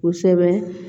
Kosɛbɛ